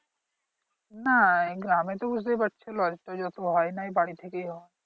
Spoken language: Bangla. না এগুলো আমি তো বুঝতেই পারছিলাম না তো যত হয় নাই বাড়ি থেকেই হয়